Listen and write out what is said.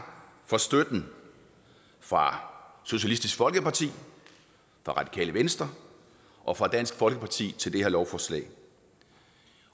for støtten fra socialistisk folkeparti radikale venstre og fra dansk folkeparti til det her lovforslag